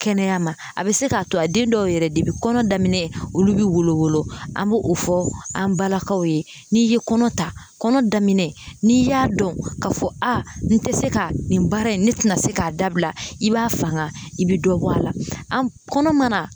Kɛnɛya ma a bɛ se k'a to a den dɔw yɛrɛ kɔnɔ daminɛ olu bɛ wolowolo an bɛ o fɔ an balakaw ye n'i ye kɔnɔ ta kɔnɔ daminɛ n'i y'a dɔn ka fɔ a n tɛ se ka nin baara in ne tɛna se k'a dabila i b'a fanga i bɛ dɔ bɔ a la an kɔnɔ mana